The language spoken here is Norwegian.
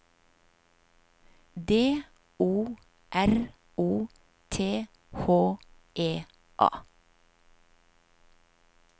D O R O T H E A